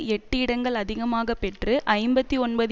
எட்டு இடங்கள் அதிகமாக பெற்று ஐம்பத்தி ஒன்பது